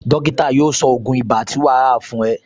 Dókítà yóò sọ ògún ibà tí wà á fún ẹ